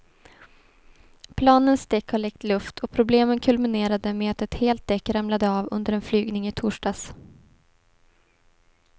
Planens däck har läckt luft och problemen kulminerade med att ett helt däck ramlade av under en flygning i torsdags.